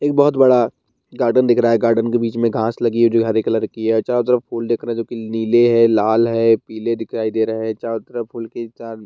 एक बहोत बडा गार्डन दिख रहा है गार्डन के बीच मे घास लगी है जो हरे कलर की है चारों तरफ फूल दिख रहे हैं जो की नीले है लाल है पीले दिखाई दे रहे हैं चारों तरफ फूल के चार --